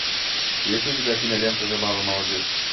есть ли у тебя кинолента забавы молодых